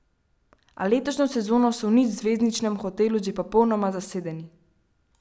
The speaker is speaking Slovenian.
A letošnjo sezono so v nič zvezdničinem hotelu že popolnoma zasedeni.